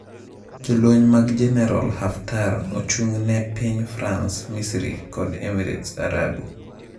Jolweny mag Jeneral Haftar ochung'ne piny France, Misri kod Emirats Arabu.